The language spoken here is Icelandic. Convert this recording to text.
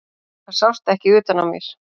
Það sást ekki utan á mér.